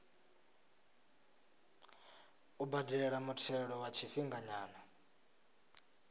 u badela muthelo wa tshifhinganyana